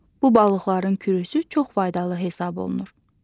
Bu balıqların kürüsü çox faydalı hesab olunur.